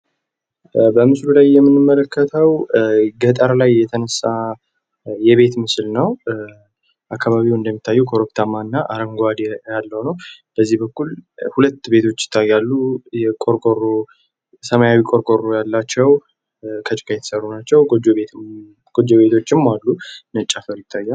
በምስሉ ላይ የምንመለከተው ገጠር ላይ የተነሳ የቤት ምስል ነው። አካባቢው እንደሚታየው ኮረብታማ እና አረንጓዴ ያለው ነው። በዚህ በኩል ሁለት ቤቶች ይታያሉ። ሰማያዊ ቆርቆሮ ያላቸው ከጭቃ የተሰሩ ናቸው ጎጆ ቤቶችም አሉ። ነጭ አፈር ይታያል።